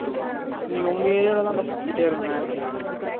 இன்னிக்கு உங்க area ல தான் டா சுத்திட்டே இருந்தேன்